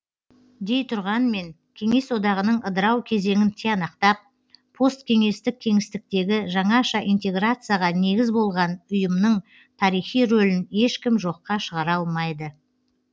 дей тұрғанмен кеңес одағының ыдырау кезеңін тиянақтап посткеңестік кеңістіктегі жаңаша интеграцияға негіз болған ұйымның тарихи рөлін ешкім жоққа шығара алмайды